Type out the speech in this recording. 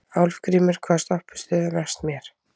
Álfgrímur, hvaða stoppistöð er næst mér?